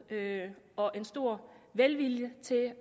og en stor velvilje til